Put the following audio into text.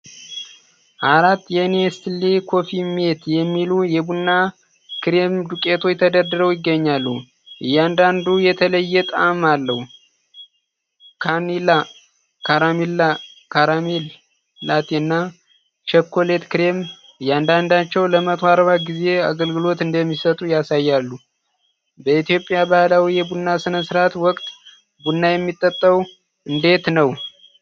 አራት የኔስሌ ኮፊ ሜት የሚባሉ የቡና ክሬም ዱቄቶች ተደርድረው ይገኛሉ። እያንዳንዱ የተለያየ ጣዕም አለው፡ ቫኒላ፣ ካራሜል፣ ካራሜል ላቴ እና ቸኮሌት ክሬም። እያንዳንዳቸው ለ140 ጊዜ አገልግሎት እንደሚሰጡ ያሳያሉ። በኢትዮጵያ ባህላዊ የቡና ሥነ ሥርዓት ወቅት ቡና የሚጠጣው እንዴት ነው?